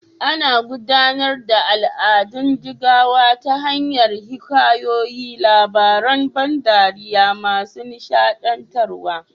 Ana gudanar da al'adun jigawa ta hanyar hikayoyi, labaran ban dariya masu nishaɗantarwa.